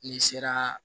N'i sera